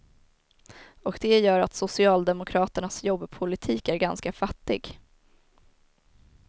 Och det gör att socialdemokraternas jobbpolitik är ganska fattig.